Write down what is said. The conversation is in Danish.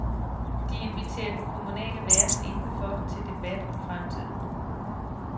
De inviterer den kommunale verden indenfor til debat om fremtiden.